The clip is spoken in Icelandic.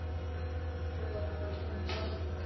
Svo var hún horfin.